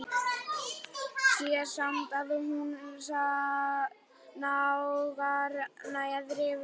Sé samt að hún nagar neðri vörina.